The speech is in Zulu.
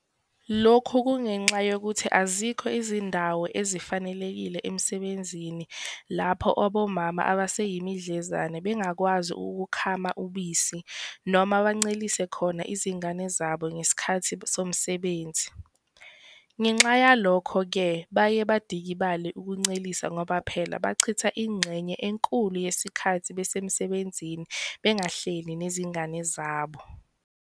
Lokhu kungenxa yokuthi azikho izindawo ezifanelekile emsebenzini lapho omama abaseyimidlezane bengakwazi ukukhama ubisi noma bancelisele khona izingane zabo ngesikhathi somsebenzi, ngenxa yalokho-ke baye badikibale ukuncelisa ngoba phela bachitha ingxenye enkulu yesikhathi besemsebenzini bengahleli nezingane zabo.